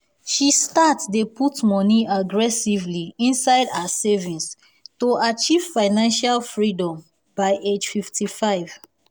she start dey put money aggressively inside her savings to achieve financial freedom by age 55.